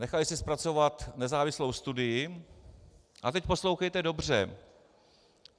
Nechali si zpracovat nezávislou studii - a teď poslouchejte dobře.